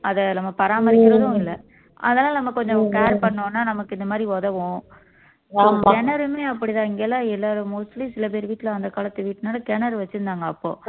அதை நம்ம பராமரிக்கிறதும் இல்ல அதனால நம்ம கொஞ்சம் care பண்ணோம்ன்னா நமக்கு இந்த மாதிரி உதவும் கிணறுமே அப்படித்தான் இங்க எல்லாம் mostly சில பேர் வீட்ல வந்த காலத்து வீட்டுனால கிணறு வச்சிருந்தாங்க அப்போ